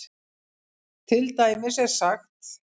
Til dæmis er sagt